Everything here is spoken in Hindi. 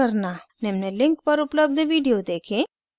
निम्न link पर उपलब्ध video देखें